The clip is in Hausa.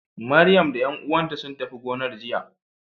Maryam da ƴan uwanta sun tafi gonar jiya.